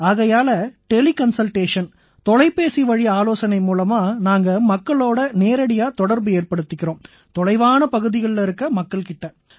ஆகையால tele consultation தொலைபேசிவழி ஆலோசனை மூலமா நாங்க மக்களோட நேரடியா தொடர்பு ஏற்படுத்திக்கறோம் தொலைவான பகுதிகள்ல இருக்கற மக்கள் கிட்ட